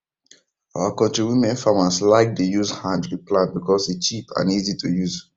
our knotri women farmers like dey use hand re plant because e cheap and easy to use